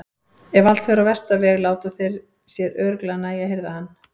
En ef allt fer á versta veg láta þeir sér örugglega nægja að hirða hann.